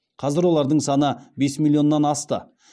қазір олардың саны бес миллионнан асты